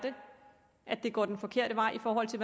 at det går den forkerte vej i forhold til